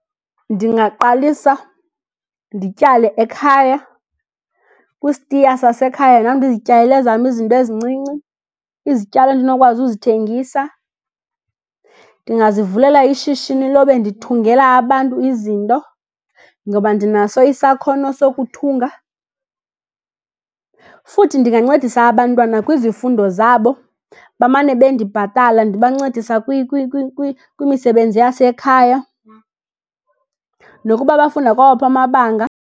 Ndingaqalisa ndityale ekhaya. Kwisitiya sasekhaya nam ndizityalele ezam izinto ezincinci, izityalo endinokwazi uzithengisa. Ndingazivulela ishishini lobe ndithungela abantu izinto, ngoba ndinaso isakhono sokuthunga. Futhi ndingancedisa abantwana kwizifundo zabo, bamane bendibhatala. Ndibancedisa kwimisebenzi yasekhaya nokuba bafunda kwawaphi amabanga.